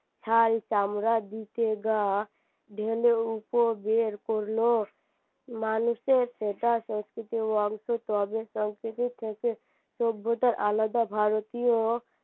শাল চামরা দিতে গা ঢেলে উপর বের করল মানুষের সেটা সংস্কৃতি অংশ তবে সংস্কৃতি থেকে সভ্যতার আলাদা ভারতীয়